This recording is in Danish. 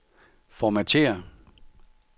formatér